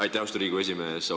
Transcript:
Aitäh, austatud Riigikogu esimees!